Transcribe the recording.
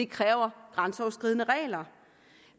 kræver grænseoverskridende regler